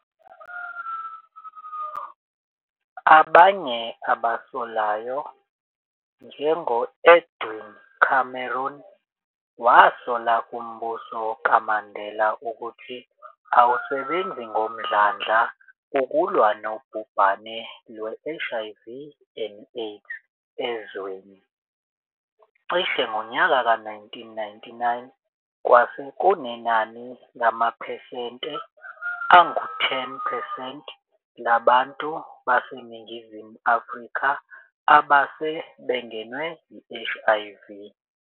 Abanye abasolayo, njengo-Edwin Cameron wasola umbuso kaMandela ukuthi awusebenzi ngomdlandla ukulwa nobhubhane lwe-HIV and AIDS ezweni, cishe ngonyaka ka 1999, kwase kunenani lamaphesente angu 10 percent labantu baseNingizimu Afrika abase bengenwe yi- HIV.